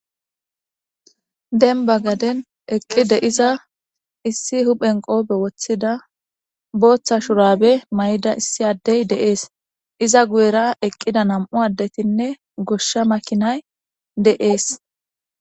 Demba gaden eqi de'iza issi huphen qope wothida, bootha shurabe mayda issi adey de'es. Izza guyera eqida nam'u adetinne gosha makinay de'es.